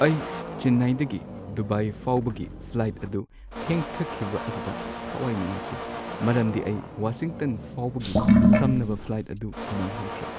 ꯑꯩ ꯆꯦꯟꯅꯥꯏꯗꯒꯤ ꯗꯨꯕꯥꯏ ꯐꯥꯎꯕꯒꯤ ꯐ꯭ꯂꯥꯏꯠ ꯑꯗꯨ ꯊꯦꯡꯊꯈꯤꯕ ꯑꯗꯨꯗ ꯊꯋꯥꯏ ꯅꯨꯡꯉꯥꯏꯇꯦ ꯃꯔꯝꯗꯤ ꯑꯩ ꯋꯥꯁꯤꯡꯇꯟ ꯐꯥꯎꯕꯒꯤ ꯁꯝꯅꯕ ꯐ꯭ꯂꯥꯏꯠ ꯑꯗꯨ ꯅꯪꯍꯧꯗꯔꯦ ꯫